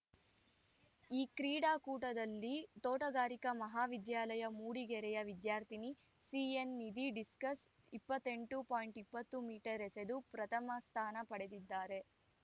ಈ ಕ್ರೀಡಾಕೂಟದಲ್ಲಿ ತೋಟಗಾರಿಕಾ ಮಹಾ ವಿದ್ಯಾಲಯ ಮೂಡಿಗೆರೆಯ ವಿದ್ಯಾರ್ಥಿನಿ ಸಿಎನ್‌ ನಿಧಿ ಡಿಸ್ಕಸ್‌ ಇಪ್ಪತ್ತೆಂಎಂಟು ಪಾಯಿಂಟ್ ಇಪ್ಪತ್ತು ಮೀಟರ್ ಎಸೆದು ಪ್ರಥಮ ಸ್ಥಾನ ಪಡೆದಿದ್ದಾರೆ